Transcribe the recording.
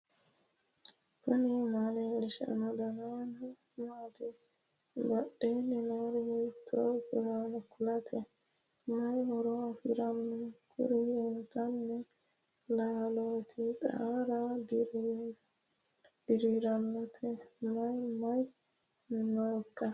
knuni maa leellishanno ? danano maati ? badheenni noori hiitto kuulaati ? mayi horo afirino ? kuri intanni laalooti xaara diraiinnote mayi mayi nooikka